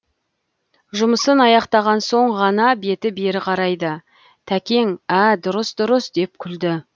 жұмысын аяқтаған соң ғана беті бері қарайды тәкең ә дұрыс дұрыс деп күлді